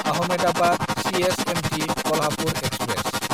Ahmedabad CSMT Kolhapur express